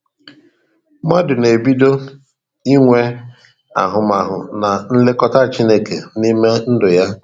Mmadụ na ebido inwe ahụmahụ na nlekọta Chineke n'ime ndụ yá